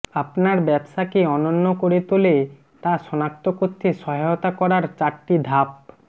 আপনার ব্যবসাকে অনন্য করে তোলে তা সনাক্ত করতে সহায়তা করার চারটি ধাপ